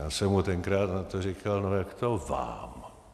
Já jsem mu tenkrát na to říkal: "No jak to, vám?